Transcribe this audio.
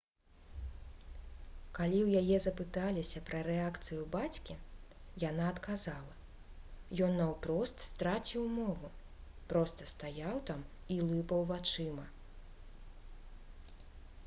калі ў яе запыталіся пра рэакцыю бацькі яна адказала: «ён наўпрост страціў мову проста стаяў там і лыпаў вачыма»